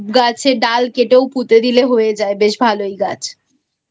গাছের ডাল কেটেও পুঁতে দিলে হয়ে যায় বেশ ভালোই গাছI